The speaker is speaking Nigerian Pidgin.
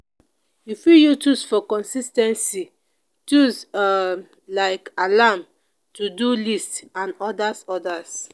person fit share work for house give everybody based on their age